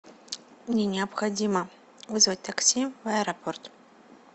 мне необходимо вызвать такси в аэропорт